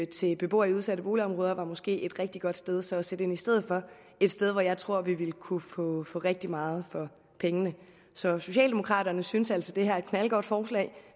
til beboere i udsatte boligområder måske var et rigtig godt sted at sætte ind i stedet for et sted hvor jeg tror at vi ville kunne få rigtig meget for pengene socialdemokraterne synes altså at det her er et knaldgodt forslag